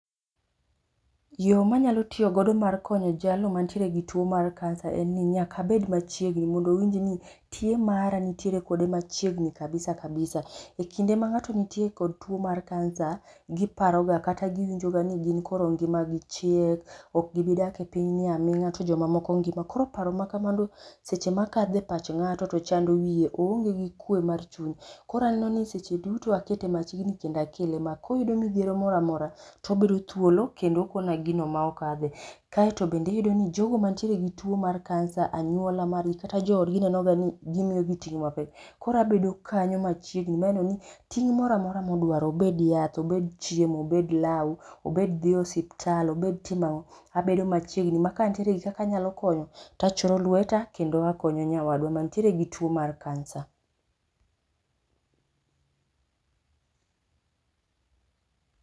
Yoo manyalo tiyo go mar konyo jalno mantie gi tuo mar kansa en ni nyaka abed machiegni mondo owinj ni tie mara nitie kode machiegni kabisa kabisa. E kinde ma ng'ato nitie kodo tuo mar kansa giparoga kata giwinjo ga ni gin koro ngimagi chiek, ok gibi dake oinyni aminga to jomoko ngima, koro paro ma kamano seche makadhe pach ng'ato to chando wiye, oonge gi kwe mar chuny. Koro aneno ni seche duto akete machiegni kendo akele ma koyudo midhiero moro amora tobedo thuolo kendo okona gino ma okadhe. Kaito bende iyudo ni bende jogo mantie gi tuo mar kansa, anyuola mar gi kata joodgi neno ga ni gimiyo gi ting mapek koro abedo kanyo machiegni maneno ni ting moro amora modwaro obed ni en yath ,obed chiemo, obed lau, obed dhi e osiptal, obed timo ango, abedo machiegni makantiere gi kaka anyalo konyo to achoro lweta kendo akonyo nyawadwa mantiere gi tuo mar kansa